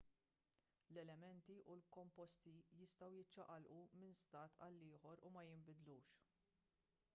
l-elementi u l-komposti jistgħu jiċċaqalqu minn stat għal ieħor u ma jinbidlux